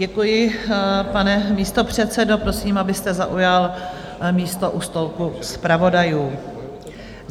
Děkuji, pane místopředsedo, prosím, abyste zaujal místo u stolku zpravodajů.